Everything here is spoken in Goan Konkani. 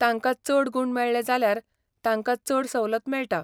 तांकां चड गूण मेळ्ळे जाल्यार तांकां चड सवलत मेळटा.